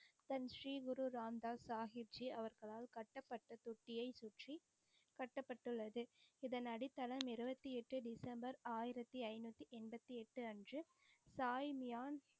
தன் ஸ்ரீ குரு ராம்தாஸ் சாஹிப் ஜி அவர்களால் கட்டப்பட்டத் தொட்டியை சுற்றி கட்டப்பட்டு உள்ளது. இதன் அடித்தளம் இருபத்தி எட்டு டிசம்பர் ஆயிரத்தி ஐநூத்தி எம்பத்தி அன்று சாயி மியான்.